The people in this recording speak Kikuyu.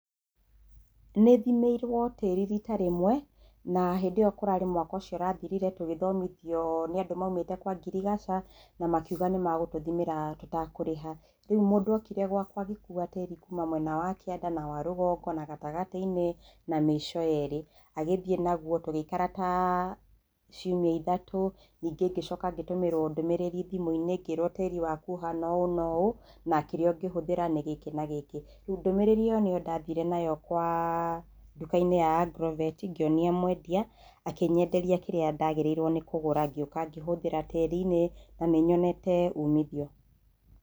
Nĩthimĩirwo tĩri rita rimwe, na hĩndĩ ĩyo kũrarĩ mwaka ũcio ũrathirire tugĩthomithio nĩ andũ maumĩte kwa ngiriaca na makiuga nĩ magũtũthimĩra tũtakarĩha, Riu mũndũ okire gwakwa agĩkua tĩrĩ kuma mwena wa kĩenda, na wa rũgongo na gatagatĩ-inĩ na mĩico yerĩ, agĩthii naguo tũgĩikara ta ciumia ithatũ ningĩ ngĩcoka ngĩtũmĩrwo ndũmĩrĩri thimũ-inĩ ngĩrwo tĩri waku ũhana ũũ na ũũ na kĩrĩa ũngĩhũthĩra nĩ gĩkĩ na gĩkĩ, ndũmĩrĩri ĩyo nĩyo ndathire nayo kwa nduka-inĩ ya agrovet ngĩonia mwendia, akĩnyenderia kĩrĩa ndagĩrĩrwo kũgũra ngĩũka ngĩhũthĩra tĩri-inĩ na nĩnyonete umithio.